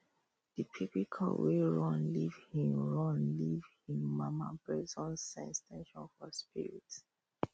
the baby cow wey run leave hin run leave hin mama breast don sense ten sion for spirit